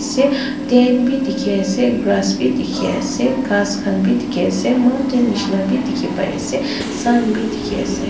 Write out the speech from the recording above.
Ase Tent bhi dekhi ase grass bhi dekhi ase ghas khan bhi dekhi ase mountain neshina bhi dekhi pai ase sun bhi dekhi ase.